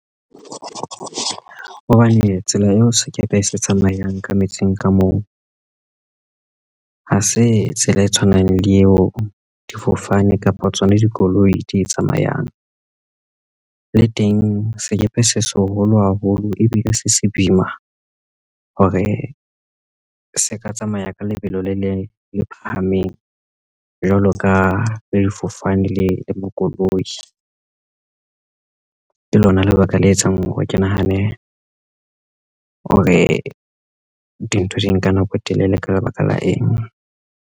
Hobane tsela eo sekepe se tsamayang ka metsing ka moo ha se tsela e tshwanang le eo difofane kapo tsona dikoloi di tsamayang le teng sekepe se seholo haholo ebile se se boima hore se ka tsamaya ka lebelo le phahameng jwalo ka lefofane le makoloi lona lebaka le etsang hore ke nahane hore dintho di nka nako e telele ka lebaka la eng.